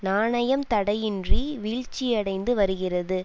நாணயம் தடையின்றி வீழ்ச்சியடைந்து வருகிறது